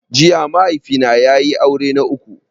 Jiya mahaifi na ya yi aure na uku